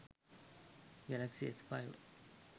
galaxy s5